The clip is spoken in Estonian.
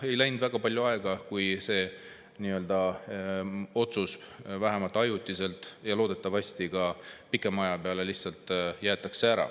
Ei läinud väga palju aega, kui see otsus vähemalt ajutiselt, ja loodetavasti jäetakse see pikema aja peale ka ära.